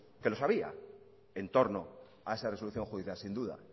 ue los había en torno a esa resolución judicial sin duda